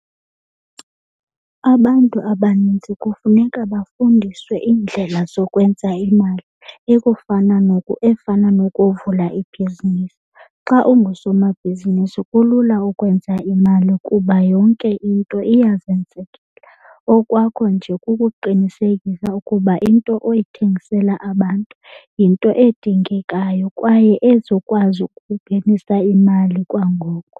Abantu abanintsi kufuneka bafundiswe iindlela zokwenza imali ekufunana efana nokuvula ibhizinisi. Xa ungusomabhizinisi kulula ukwenza imali kuba yonke into iyazenzekela. Okwakho nje kukuqinisekisa ukuba into oyithengisela abantu yinto edingekayo kwaye ezokwazi ukungenisa imali kwangoko.